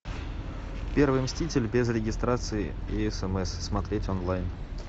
первый мститель без регистрации и смс смотреть онлайн